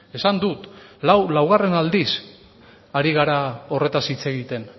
esan dut laugarren aldiz hari gara horretaz hitz egiten